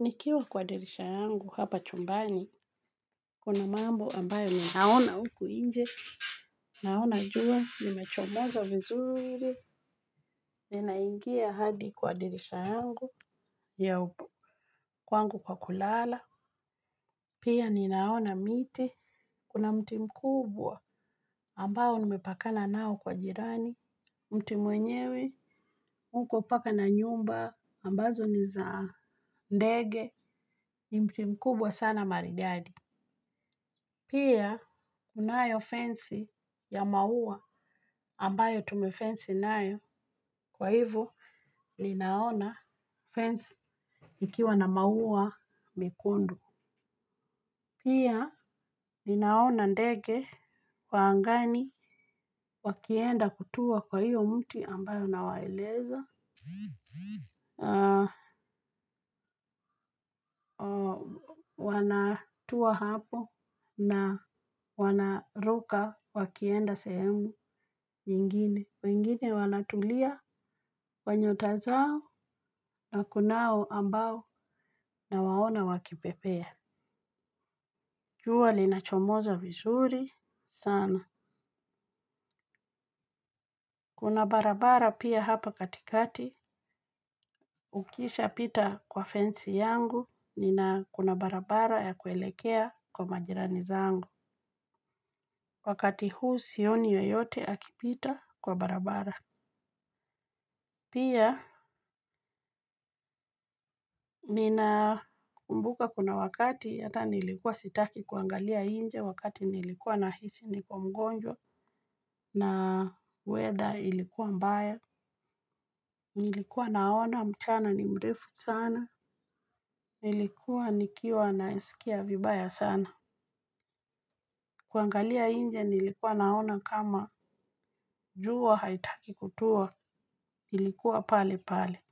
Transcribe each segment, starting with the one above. Nikiwa kwa dirisha yangu hapa chumbani kuna mambo ambayo ninaona huku nje. Naona jua limechomoza vizuri. Ninaingia hadi kwa dirisha yangu ya kwangu kwa kulala. Pia ninaona miti kuna mti mkubwa ambao nimepakana nao kwa jirani mti mwenyewe mkubwa mpaka na nyumba ambazo ni za ndege ni mti mkubwa sana maridadi. Pia, kunayo fensi ya maua ambayo tumefensi nayo kwa hivo linaona fensi ikiwa na maua mekundu. Pia, linaona ndege kwa angani wakienda kutua kwa hiyo mti ambayo nawaeleza. Wanatua hapo na wanaruka wakienda sehemu nyingine. Wengine wanatulia kwa nyota zao na kunao ambao nawaona wakipepea. Jua linachomoza vizuri sana. Kuna barabara pia hapa katikati ukishapita kwa fensi yangu nina kuna barabara ya kuelekea kwa majirani zangu. Wakati huu sioni yoyote akipita kwa barabara. Pia, nina kumbuka kuna wakati ata nilikuwa sitaki kuangalia nje wakati nilikuwa nahisi niko mgonjwa na weather ilikuwa mbaya, nilikuwa naona mchana ni mrefu sana, nilikuwa nikiwa nasikia vibaya sana. Kuangalia nje nilikuwa naona kama jua haitaki kutua ilikuwa pale pale.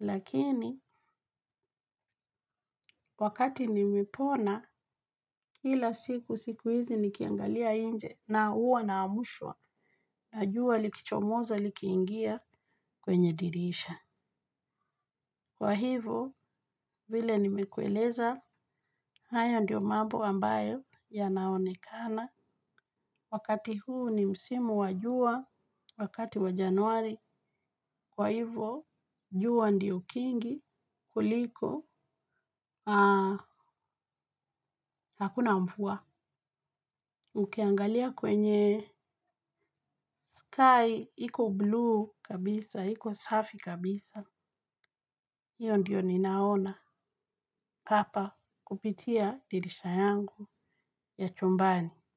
Lakini wakati nimepona kila siku siku hizi nikiangalia nje na huwa naamshwa na jua likichomoza likiingia kwenye dirisha. Kwa hivyo, vile nimekueleza, haya ndiyo mambo ambayo yanaonekana. Wakati huu ni msimu wa jua, wakati wa januari, kwa hivyo, jua ndiyo kingi kuliko, haa, hakuna mvua. Ukiangalia kwenye sky, hiko bluu kabisa, iko safi kabisa. Hiyo ndiyo ninaona papa kupitia dirisha yangu ya chumbani.